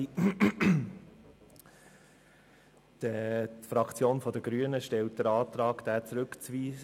Die Fraktion der Grünen stellt den Antrag, diesen Artikel zurückzuweisen.